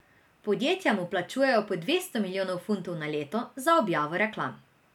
Podjetja mu plačujejo po dvesto milijonov funtov na leto za objavo reklam.